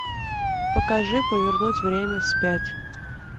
покажи повернуть время вспять